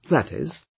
that is,